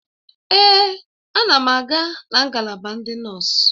Èè, a na m aga na ngalaba ndị nọọsụ.